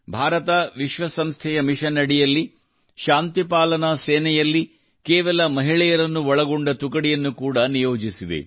ಭಾರತವು ವಿಶ್ವಸಂಸ್ಥೆಯ ಮಿಷನ್ ಅಡಿಯಲ್ಲಿ ಶಾಂತಿ ಪಾಲನಾ ಸೇನೆಯಲ್ಲಿ ಕೇವಲ ಮಹಿಳೆಯರನ್ನು ಒಳಗೊಂಡ ತುಕಡಿಯನ್ನು ಕೂಡಾ ನಿಯೋಜಿಸಿದೆ